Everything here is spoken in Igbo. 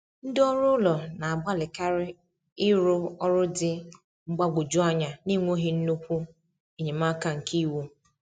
Ndị ọrụ ụlọ na-agbalịkarị ịrrụ ọrụ dị mgbagwoju anya n’enweghị nnukwu enyemaka nke iwu.